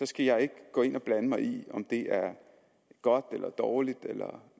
skal jeg ikke gå ind og blande mig i om det er godt eller dårligt eller